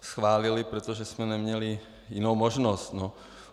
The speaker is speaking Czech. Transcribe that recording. schválili, protože jsme neměli jinou možnost.